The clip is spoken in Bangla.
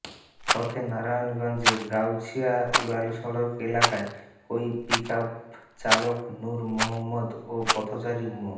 পথে নারায়ণগঞ্জে গাউছিয়া উড়ালসড়ক এলাকায় ওই পিকআপের চালক নূর মোহাম্মদ ও পথচারী মো